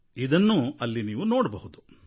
ಇದನ್ನೂ ಅಲ್ಲಿ ನೋಡಬಹುದು